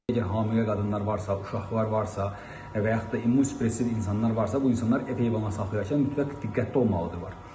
Əgər hamilə qadınlar varsa, uşaqlar varsa və yaxud da immun depressiv insanlar varsa, bu insanlar ev heyvanı saxlayarkən mütləq diqqətli olmalıdırlar.